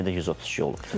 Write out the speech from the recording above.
Yenə də 132 olub.